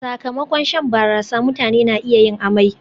Sakamakon shan barasa, mutane na iya yin amai